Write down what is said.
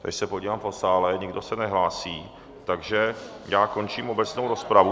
Když se podívám po sále, nikdo se nehlásí, takže já končím obecnou rozpravu...